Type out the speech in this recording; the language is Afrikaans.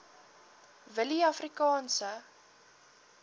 willieafrikaanse